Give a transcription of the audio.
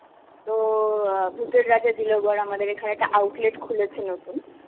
তো অ্যাঁ ভুতের রাজা দিল বর আমাদের এখানে একটা outlet খুলেছে নতুন.